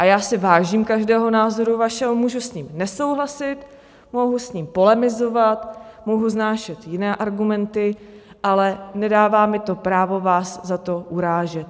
A já si vážím každého názoru vašeho, můžu s ním nesouhlasit, mohu s ním polemizovat, mohu vznášet jiné argumenty, ale nedává mi to právo vás za to urážet.